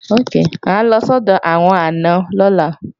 À ń lọ sọ́dọ̀ àwọn àna lọ́la